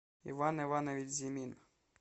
иван иванович зимин